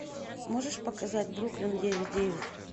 можешь показать бруклин девять девять